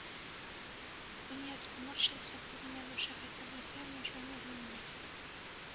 пониетс поморщился в глубине души хотя на лице его ничего не отразилось